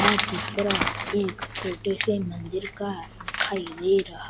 आ चित्रा एक छोटे से मंदिर का दिखाइ दे रहा--